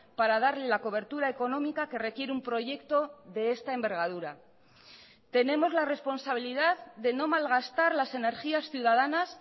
para darle la cobertura económica que requiere un proyecto de esta envergadura tenemos la responsabilidad de no malgastar las energías ciudadanas